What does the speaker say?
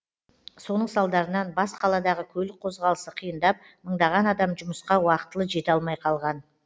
соның салдарынан бас қаладағы көлік қозғалысы қиындап мыңдаған адам жұмысқа уақытылы жете алмай қалған